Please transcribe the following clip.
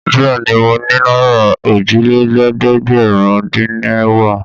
Bẹ́ẹ̀ ni, mo ni náírà òjìlélẹ́ẹ̀dẹ́gbẹ̀rúndínẹ̀wá.